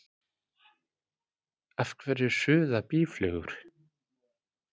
Af hverju suða býflugur?